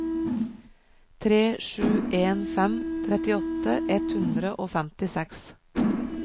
tre sju en fem trettiåtte ett hundre og femtiseks